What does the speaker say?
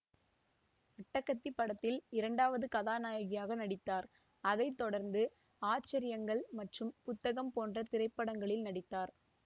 அட்டகத்தி படத்தில் இரண்டாவது கதாநாயகியாக நடித்தார் அதை தொடர்ந்து ஆச்சரியங்கள் மற்றும் புத்தகம் போன்ற திரைப்படங்களில் நடித்தார்